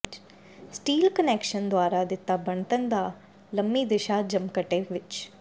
steel connection ਦੁਆਰਾ ਦਿੱਤਾ ਬਣਤਰ ਦਾ ਲੰਮੀ ਦਿਸ਼ਾ ਜਮਘਟੇ ਵਿੱਚ